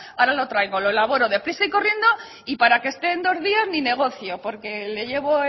ahora lo traigo lo elaboro deprisa y corriendo y para que esté en dos días ni negocio porque le llevo